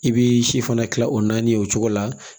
I bi si fana kila o naani o cogo la